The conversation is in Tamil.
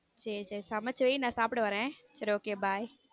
சேரி சேரி சமைச்சு வை நான் சாப்பிட வரேன் சேரி okay bye.